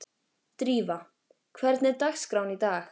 Drífa, hvernig er dagskráin í dag?